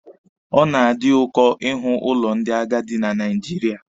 Ọ na-adị ụkọ ịhụ ụlọ ndị agadi na Naijiria.